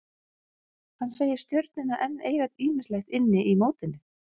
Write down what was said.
Hann segir Stjörnuna enn eiga ýmislegt inni í mótinu.